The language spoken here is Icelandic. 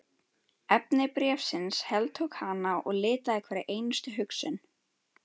Efni bréfsins heltók hana og litaði hverja einustu hugsun.